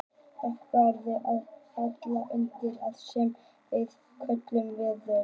nokkur atriði falla undir það sem við köllum „veður“